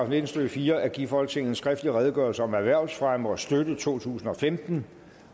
nitten stykke fire at give folketinget en skriftlig redegørelse om erhvervsfremme og støtte totusinde og femtende